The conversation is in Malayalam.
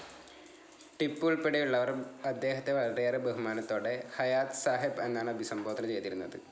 ടിപ്പു ഉൾപ്പെടെയുളളവർ അദ്ദേഹത്തെ വളരെയേറെ ബഹുമാനത്തോടെ ഹയാത് സാഹെബ് എന്നാണ് അഭിസംബോധനം ചെയ്തിരുന്നത്‌.